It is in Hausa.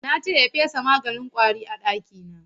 Na ce ya fesa maganin ƙwari a ɗakina.